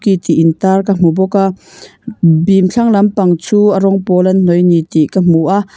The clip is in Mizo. ti tih in tar ka hmu bawk a bim thlang lampang chu a rawng pawl an hnawih ani tih ka hmu a.